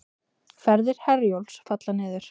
Ferðir Herjólfs falla niður